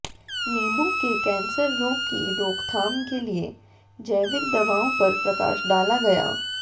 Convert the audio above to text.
नीबू के कैंसर रोग की रोकथाम के लिए जैविक दवाओं पर प्रकाश डाला गया